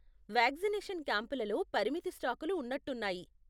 Vaccination క్యాంపులలో పరిమిత స్టాకులు ఉన్నట్టున్నాయి.